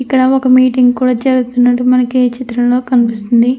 ఇక్కడ ఒక మీటింగ్ కూడ జరుగుతున్నట్టు మనకి ఈ చిత్రంలో కనిపిస్తుంది.